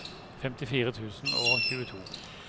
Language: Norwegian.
femtifire tusen og tjueto